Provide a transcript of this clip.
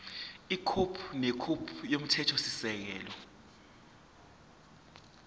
ikhophi nekhophi yomthethosisekelo